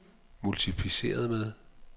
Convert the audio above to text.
multipliceret med